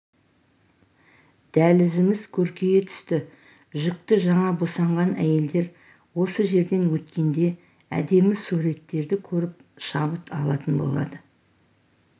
дәлізіміз көркейе түсті жүкті жаңа босанған әйелдер осы жерден өткенде әдемі суреттерді көріп шабыт алатын болады